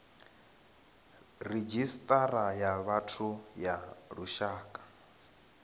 redzhisita ya vhathu ya lushaka